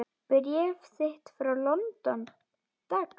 Bréf þitt frá London, dags.